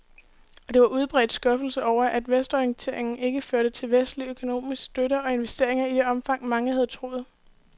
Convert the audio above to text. Og der var udbredt skuffelse over, at vestorienteringen ikke førte til vestlig økonomisk støtte og investeringer i det omfang, mange havde troet.